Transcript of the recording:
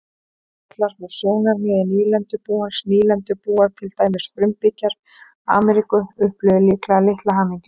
Gallar frá sjónarmiði nýlendubúans Nýlendubúar, til dæmis frumbyggjar Ameríku, upplifðu líklega litla hamingju.